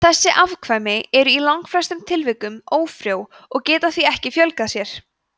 þessi afkvæmi eru í langflestum tilfellum ófrjó og geta því ekki fjölgað sér